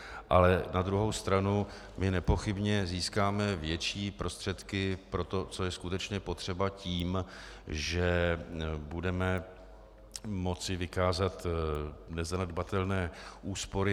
Ale na druhou stranu my nepochybně získáme větší prostředky pro to, co je skutečně potřeba, tím, že budeme moci vykázat nezanedbatelné úspory.